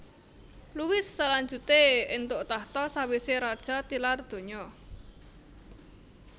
Louis salanjuté éntuk tahta sawisé raja tilar donya